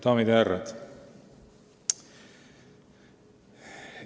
Daamid ja härrad!